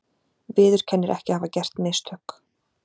Viðurkennir ekki að hafa gert mistök